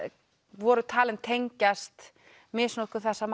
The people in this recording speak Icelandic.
voru talin tengjast misnotkun þessa